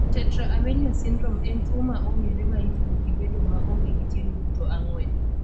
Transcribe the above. Tetra amelia syndrome en tuo ma ong'ere ma itudo gi bedo ma onge gi tielo duto ang'wen.